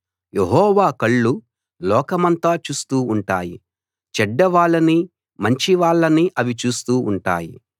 యెహోవా కళ్ళు లోకమంతా చూస్తూ ఉంటాయి చెడ్డవాళ్ళని మంచివాళ్ళని అవి చూస్తూ ఉంటాయి